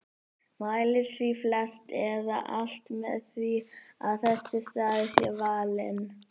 Mælir því flest eða alt með því að þessi staður sé valinn.